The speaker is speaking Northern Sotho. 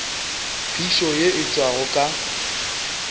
phišo ye e tšwago ka